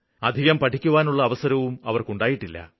അധികം പഠിക്കുവാനുള്ള അവസരവും അവര്ക്കുണ്ടായിട്ടില്ല